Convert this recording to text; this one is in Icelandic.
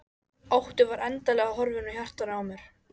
Óttinn var endanlega horfinn úr hjartanu á mér.